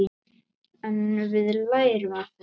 En við lærum af þessu.